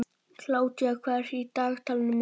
Kládía, hvað er í dagatalinu mínu í dag?